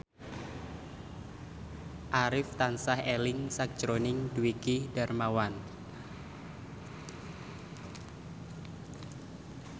Arif tansah eling sakjroning Dwiki Darmawan